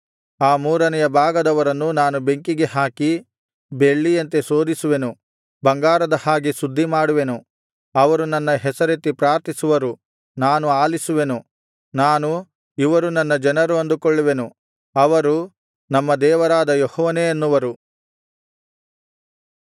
ಆ ಮೂರನೆಯ ಭಾಗದವರನ್ನು ನಾನು ಬೆಂಕಿಗೆ ಹಾಕಿ ಬೆಳ್ಳಿಯಂತೆ ಶೋಧಿಸುವೆನು ಬಂಗಾರದ ಹಾಗೆ ಶುದ್ಧಿ ಮಾಡುವೆನು ಅವರು ನನ್ನ ಹೆಸರೆತ್ತಿ ಪ್ರಾರ್ಥಿಸುವರು ನಾನು ಆಲಿಸುವೆನು ನಾನು ಇವರು ನನ್ನ ಜನರು ಅಂದುಕೊಳ್ಳುವೆನು ಅವರು ನಮ್ಮ ದೇವರಾದ ಯೆಹೋವನೇ ಅನ್ನುವರು